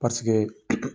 Paseke